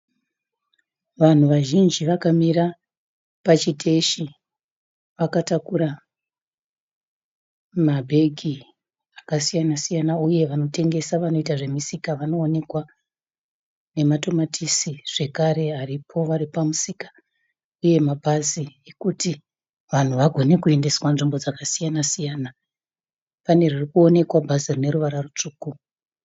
Vanhu vazhinji vakamira pachiteshi vakatakura mabhegi akasiyana-siyana uye vanotengesa vanoita zvemusika vanoonekwa nematomatisi zvekare aripo varipamusika uye mabhazi ekuti vanhu vagone kuendeswa nzvimbo dzakasiyana-siyana. Pane ririkuonekwa bhazi rineruvara rutsvuku.